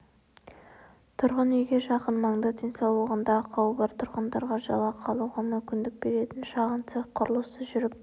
тұрғын үйге жақын маңда денсаулығында ақауы бар тұрғындарға жалақы алуға мүмкіндік беретін шағын цех құрылысы жүріп